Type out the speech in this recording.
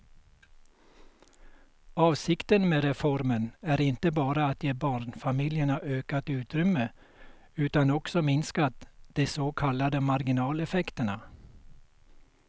Avsikten med reformen är inte bara att ge barnfamiljerna ökat utrymme utan också minska de så kallade marginaleffekterna.